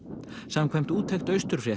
samkvæmt úttekt